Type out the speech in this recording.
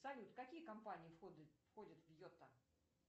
салют какие компании входят в йота